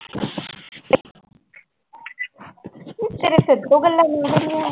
ਤੇਰੇ ਸਿਰ ਤੋਂ ਗੱਲਾਂ ਗਈਆਂ ਸਾਰੀਆਂ।